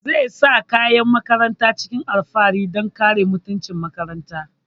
Zai sa kayan makarantar cikin alfahari don kare mutuncin makarantar